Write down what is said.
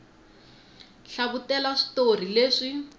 hlavutela switori leswi